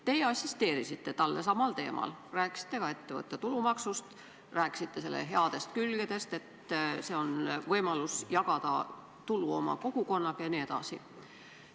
Teie assisteerisite talle samal teemal, rääkisite ka ettevõtte tulumaksust ja selle headest külgedest: et see on võimalus jagada tulu oma kogukonnaga jne.